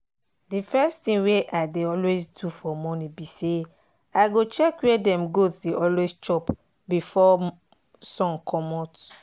the first thing wey i dey always do for morning be sayi go check where dem goats dey always chop before sun comot.